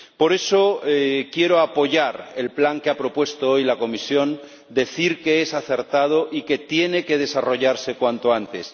Por eso quiero apoyar el plan que ha propuesto hoy la Comisión, decir que es acertado y que tiene que desarrollarse cuanto antes.